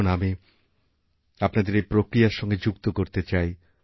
এখনআমি আপনাদের এই প্রক্রিয়ার সঙ্গে যুক্ত করতে চাই